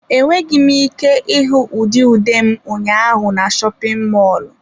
Enweghị m ike ịhụ ụdị ude m ụnyaahụ na shopin mọlụ.